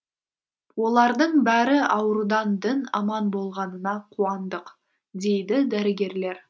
олардың бәрі аурудан дін аман болғанына қуандық дейді дәрігерлер